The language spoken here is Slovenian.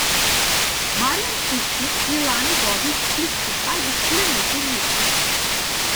Marijan Pušnik je lani vodil splitski Hajduk le nekaj mesecev.